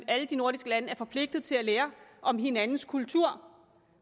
alle de nordiske lande er forpligtet til at lære om hinandens kultur